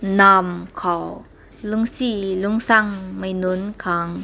nam kaw lunsi lunsung mai num kang.